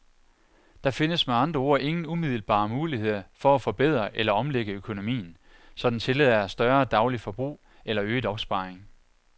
Der findes med andre ord ingen umiddelbare muligheder for at forbedre eller omlægge økonomien, så den tillader større dagligt forbrug eller øget opsparing.